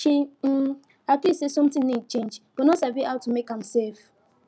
she um agree say something need change but no sabi how to make am safe